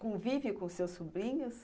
Convive com seus sobrinhos?